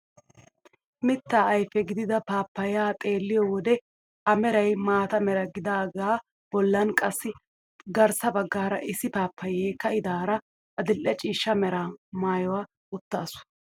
Mitta ayfe gidida paappayaa xeelliyoo wode a meray maata mera gidaagaa bollan qassi garssa baggaara issi paappayiyaa ka'idaara adil'e ciishsha meraa maaya uttaasu.